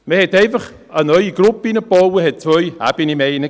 Man hat einfach eine neue Gruppe reingebaut, hat zwei Ebenen mehr hineingegeben.